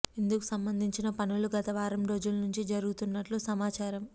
ఇందుకు సంబంధించిన పనులు గత వారం రోజుల నుంచీ జరుగుతున్నట్టు సమాచారమ్